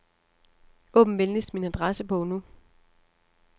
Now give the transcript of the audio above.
Åbn venligst min adressebog nu.